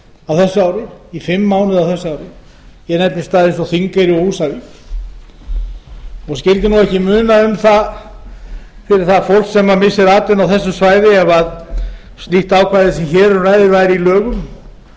á þessu ári ég nefni staði eins og þingeyri og húsavík og skyldi ekki muna um á fyrir það fólk sem missir atvinnu á þessu svæði ef slíkt ákvæði sem hér um ræðir væri í lögum